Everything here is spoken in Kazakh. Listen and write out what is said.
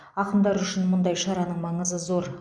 ақындар үшін мұндай шараның маңызы зор